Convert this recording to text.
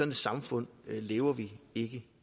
et samfund lever vi ikke